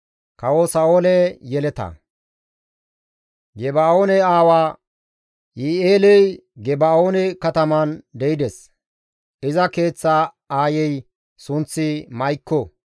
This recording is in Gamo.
Geba7oone aawa Yi7i7eeley Geba7oone kataman de7ides; iza keeththa aayey sunththi Ma7ikko.